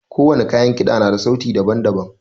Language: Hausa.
Ko wani kayan kida na da sauti daban-daban.